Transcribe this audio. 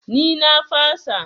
Ni na fasa.